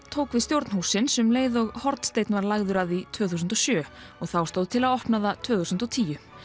tók við stjórn hússins um leið og hornsteinn var lagður að því tvö þúsund og sjö og þá stóð til að opna það tvö þúsund og tíu